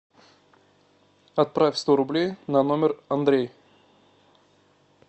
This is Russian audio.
отправь сто рублей на номер андрей